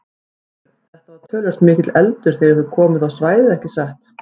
Þorbjörn: Þetta var töluvert mikill eldur þegar þið komuð á svæðið ekki satt?